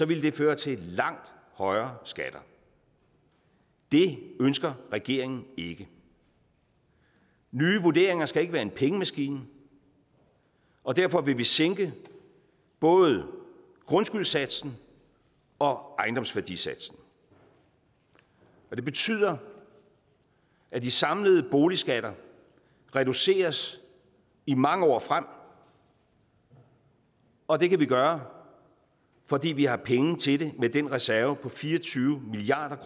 ville det føre til langt højere skatter det ønsker regeringen ikke nye vurderinger skal ikke være en pengemaskine og derfor vil vi sænke både grundskyldssatsen og ejendomsværdisatsen det betyder at de samlede boligskatter reduceres i mange år frem og det kan vi gøre fordi vi har penge til det med den reserve på fire og tyve milliard